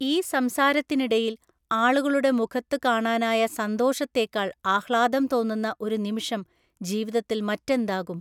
ഈ സംസാരത്തിനിടയില്‍ ആളുകളുടെ മുഖത്ത് കാണാനായ സന്തോഷത്തേക്കാള്‍ ആഹ്ലാദം തോന്നുന്ന ഒരു നിമിഷം ജീവിതത്തില്‍ മറ്റെന്താകും?